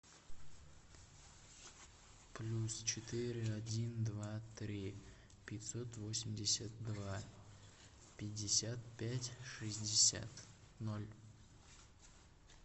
плюс четыре один два три пятьсот восемьдесят два пятьдесят пять шестьдесят ноль